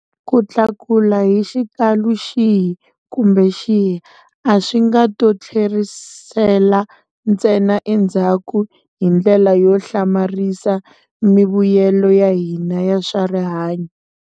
Ku tlakuka hi xikalu xihi kumbe xihi a swi nga to tlherisela ntsena endzhaku hi ndlela yo hlamarisa mivuyelo ya hina ya swa rihanyu.